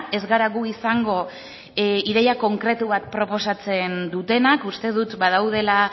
ez gara gu izango ideia konkretu bat proposatzen dutenak uste dut badaudela